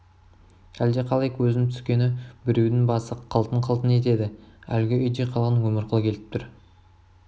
әлде қалай көзім түскені біреудің басы қылтың қылтың етеді әлгі үйде қалған өмірқұл келіп тұр